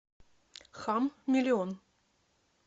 хам миллион